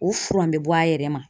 O furan bɛ bɔ a yɛrɛ ma